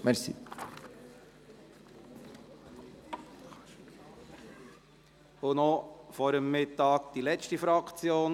Wir kommen noch vor dem Mittag zur letzten Fraktion: